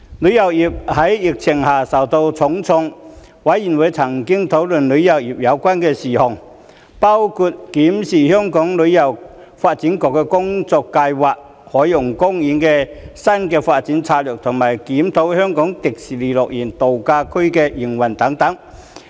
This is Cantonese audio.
旅遊業在疫情下受到重創，事務委員會曾討論與旅遊有關的事宜，包括審視香港旅遊發展局的工作計劃、海洋公園的新發展策略和檢討香港迪士尼樂園度假區的營運等。